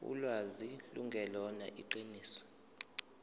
ulwazi lungelona iqiniso